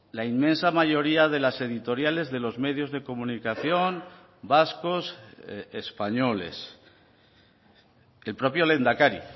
la inmensa mayoría de las editoriales de los medios de comunicación vascos españoles el propio lehendakari